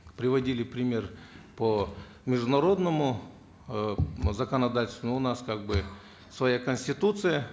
приводили пример по международному э законодательству но у нас как бы своя конституция